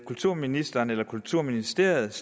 kulturministeren eller kulturministeriet